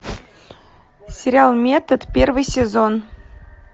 сериал метод первый сезон